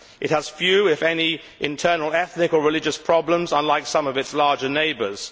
It has few, if any, internal ethnic or religious problems, unlike some of its larger neighbours.